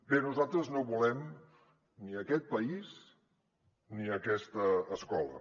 bé nosaltres no volem ni aquest país ni aquesta escola